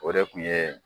O de kun ye